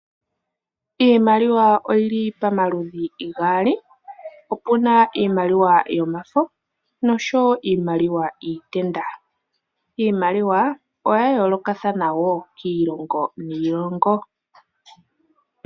Iimaliwa oyi li pamaludhi gaali, opuna iimaliwa yomafo noshowo iimaliwa yiitenda. Iimaliwa oya yoolokathana wo kiilongo niilongo.